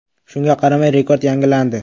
Shunga qaramay, rekord yangilandi.